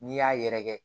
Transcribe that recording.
N'i y'a yɛrɛkɛ